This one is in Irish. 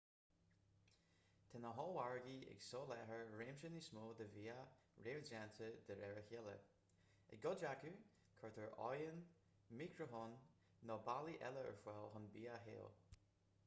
tá na hollmhargaí ag soláthar réimse níos mó de bhia réamhdhéanta de réir a chéile i gcuid acu cuirtear oigheann micreathonn nó bealaí eile ar fáil chun bia a théamh